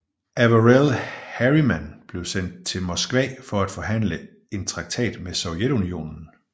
Averell Harriman blev sendt til Moskva for at forhandle en traktat med Sovjetunionen